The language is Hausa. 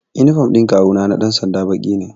Inifam ɗin kawu na na ɗan sanda baƙi ne